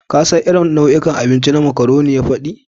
Kun san irin nau'ikan abinci waɗanda macaroni ya faɗi?